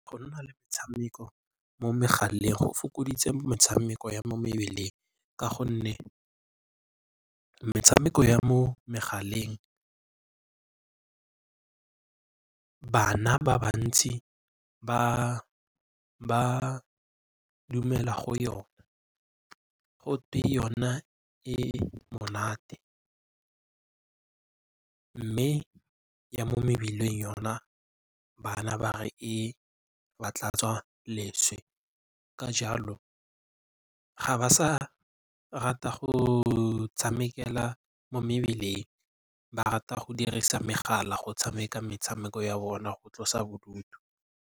Go nna le metshameko mo megaleng go fokoditse metshameko ya mo mebileng ka gonne metshameko ya mo megaleng bana ba bantsi ba dumela go yona. Gotwe yona e monate mme ya mo mebileng yona bana ba re e ba tlatsa leswe. Ka jalo ga ba sa rata go tshamekela mo mebileng, ba rata go dirisa megala go tshameka metshameko ya bona go tlosa bodutu.